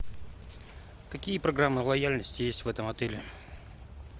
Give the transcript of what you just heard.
какие программы лояльности есть в этом отеле